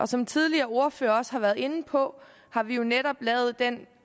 som tidligere ordførere også har været inde på har vi jo netop lavet den